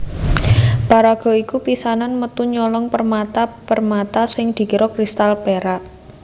Paraga iki pisanan metu nyolong permata permata sing dikira kristal perak